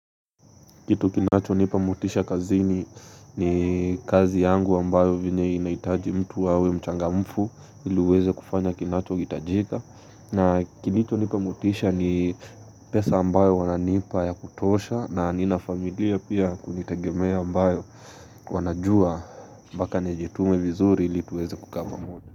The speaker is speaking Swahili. Kitu kinacho nipa motisha kazini kazi yangu ambayo vyenye inaitaji mtu hawe mchangamfu ili uweze kufanya kinacho hitajika. Na kilicho nipa motisha ni pesa ambayo wananipa ya kutosha na nina familia pia ya kunitagemea ambayo wanajua mpaka nijitume vizuri ili tuweze kukaa pamoja.